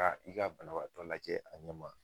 Taa i ka banabaatɔ lajɛ a ɲɛ ma